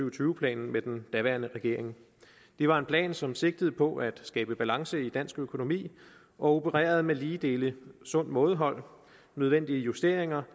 og tyve planen med den daværende regering det var en plan som sigtede på at skabe balance i dansk økonomi og opererede med lige dele sundt mådehold og nødvendige justeringer